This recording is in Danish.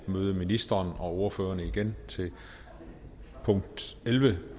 møde ministeren og ordførerne igen til punkt elleve